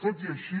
tot i així